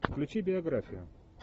включи биографию